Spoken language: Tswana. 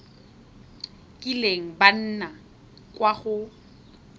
kileng ba nna kwa go